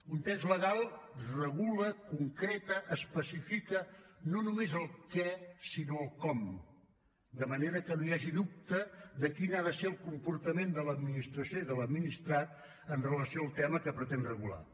un text legal regula concreta especifica no només el què sinó el com de manera que no hi hagi dubte de quin ha de ser el comportament de l’administració i de l’administrat amb relació al tema que pretén regular